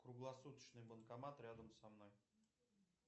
круглосуточный банкомат рядом со мной